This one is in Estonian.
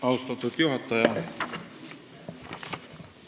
Austatud juhataja!